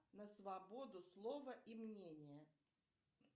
на свободу слова и мнения